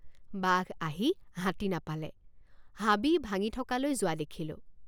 বাঘ আহি হাতী নাপালে হাবি ভাঙি থকালৈ যোৱা দেখিলোঁ।